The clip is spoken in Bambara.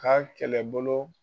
Ka kɛlɛbolo